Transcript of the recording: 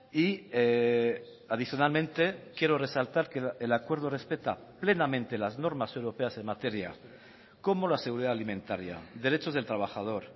y adicionalmente quiero resaltar que el acuerdo respeta plenamente las normas europeas en materia como la seguridad alimentaria derechos del trabajador